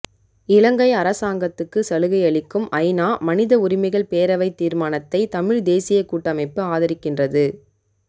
இலங்கை அரசாங்கத்துக்கு சலுகையளிக்கும் ஐநா மனித உரிமைகள் பேரவை தீர்மானத்தை தமிழ் தேசியக் கூட்டமைப்பு ஆதரிக்கின்றது